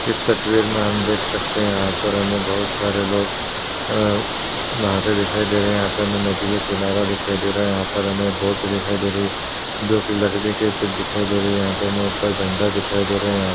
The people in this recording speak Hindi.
इस तस्वीर मे हम देख सकते हैं यहां पर हमें बहोत सारे लोग अ नहाते दिखाई दे रहे हैं। यहाँ पे हमें नदी का किनारा दिखाई दे रहा है। यहां पे हमे बोट दिखाई दे रही है जो कि लकड़ी के दिखाई दे रही है। यहाँ पे हमें ऊपर झण्डा दिखाई दे रहा है। यहां --